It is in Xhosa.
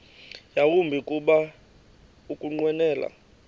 yawumbi kuba ukunqwenela